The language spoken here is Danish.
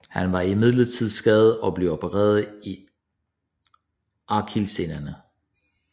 Han var imidlertid skadet og blev opereret i akillessenerne